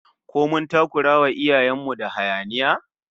Ko mun takurawa iyayen mu da hayaniya?